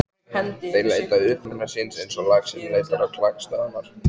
Þeir leita uppruna síns eins og laxinn leitar á klakstöðvarnar.